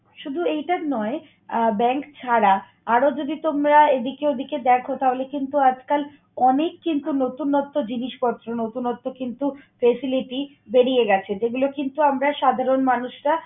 শুধু এইটার নয় আহ bank ছাড়া আরও যদি তোমরা এদিকে ওদিকে দেখো তাহলে কিন্তু আজকাল অনেক কিন্তু নতুনত্ব জিনিসপত্র, নতুনত্ব কিন্তু facility বেরিয়ে গেছে যেগুলো কিন্তু আমরা সাধারন মানুষরা